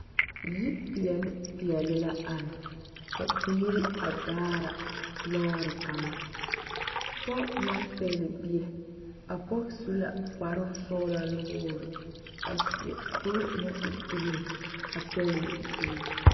Yipeɛle peɛle la are ka biire a daara lɔɔre kaŋa pɔge naŋ pɛgle bie a pɔg su la kparoŋ sɔglaa nuwogre seɛ kuree naŋ e green pɛgle bi.